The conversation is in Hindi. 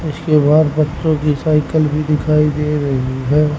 इसके बाहर बच्चों की साइकल भी दिखाई दे रही है।